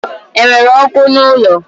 Enwere ọkụ n'ụlọ?